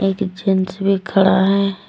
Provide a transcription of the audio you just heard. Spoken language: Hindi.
एक जेंट्स भी खड़ा है।